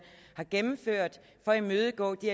har gennemført for at imødegå de